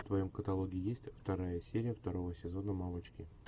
в твоем каталоге есть вторая серия второго сезона мамочки